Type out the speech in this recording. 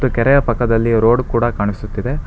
ಮತ್ತು ಕೆರೆಯ ಪಕ್ಕದಲ್ಲಿ ರೋಡ್ ಕೂಡ ಕಾಣಿಸುತ್ತಿದೆ.